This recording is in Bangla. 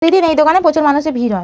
ওই দিন এই দোকানে প্রচুর মানুষের ভিড় হয়।